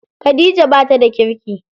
Khadija bata da kirki.